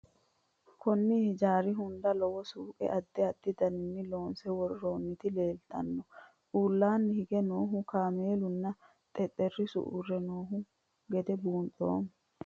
Konni hijjarri hunda lowo suuqqe addi addi daniinni loonsse woroonnitti leelittanno. Uullanni hige noohu kamellu nna xexerissu uure noo gede buunxanni